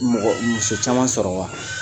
I mɔgɔ muso caman sɔrɔ wa